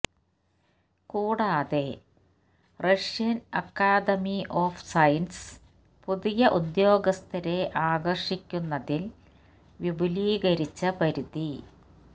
കൂടാതെ Russian academy of sciences പുതിയ ഉദ്യോഗസ്ഥരെ ആകർഷിക്കുന്നതിൽ വിപുലീകരിച്ച പരിധി